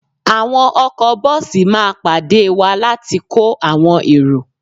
Àwọn ọkọ bọ́ọ̀sì máa pàdé wá láti kó àwọn èrò